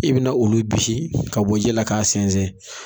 I be na olu bisi ka bɔ ji la ka sɛnsɛn.